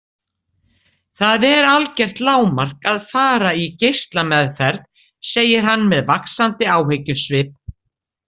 Það er algert lágmark að fara í geislameðferð, segir hann með vaxandi áhyggjusvip.